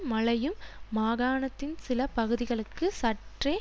மழையும் மாகாணத்தின் சில பகுதிகளுக்கு சற்றே